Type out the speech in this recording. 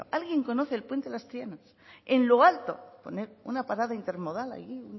alguien conoce el puente de las trianas en lo alto poner una parada intermodal allí